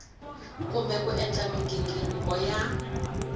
kumbe ku endla mighingiriko ya